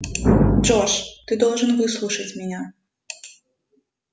джордж ты должен выслушать меня